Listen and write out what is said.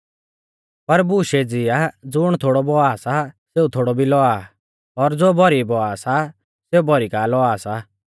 पर बूश एज़ी आ ज़ुण थोड़ौ बौआ सा सेऊ थोड़ौ लौआ भी आ और ज़ो भौरी बौआ सा सेऊ भौरी का लौआ सा